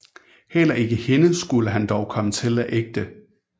Heller ikke hende skulle han dog komme til at ægte